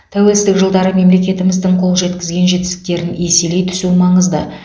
тәуелсіздік жылдары мемлекетіміздің қол жеткізген жетістіктерін еселей түсу маңызды